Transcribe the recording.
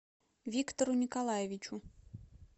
виктору николаевичу